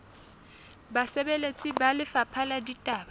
basebeletsi ba lefapha la ditaba